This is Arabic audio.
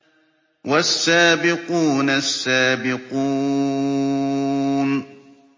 وَالسَّابِقُونَ السَّابِقُونَ